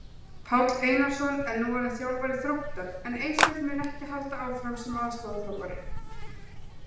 Páll Einarsson er nú orðinn þjálfari Þróttar en Eysteinn mun ekki halda áfram sem aðstoðarþjálfari.